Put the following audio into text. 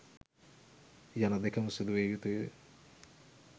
යන දෙකම සිදුවිය යුතුයි.